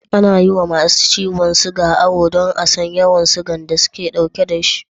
Ana yi wa masu ciyon suga awo don a san yawan da suke ɗauke da shi